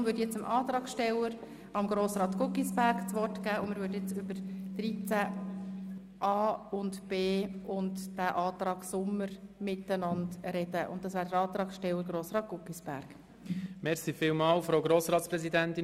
Deshalb erteile ich jetzt dem Antragsteller Grossrat Guggisberg das Wort und wir diskutieren jetzt über die Artikel 13a und 13b sowie über den Antrag Sommer.